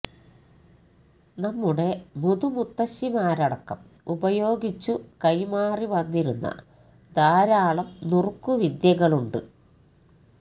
നമ്മുടെ മുതുമുത്തശ്ശിമാരടക്കം ഉപയോഗിച്ചു കൈമാറി വന്നിരുന്ന ധാരാളം നുറുക്കു വിദ്യകളുണ്ട്